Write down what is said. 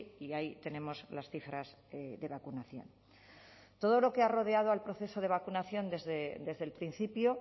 y ahí tenemos las cifras de vacunación todo lo que ha rodeado al proceso de vacunación desde el principio